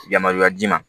Yamaruya d'i ma